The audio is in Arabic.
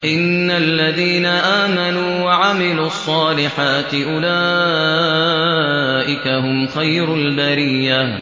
إِنَّ الَّذِينَ آمَنُوا وَعَمِلُوا الصَّالِحَاتِ أُولَٰئِكَ هُمْ خَيْرُ الْبَرِيَّةِ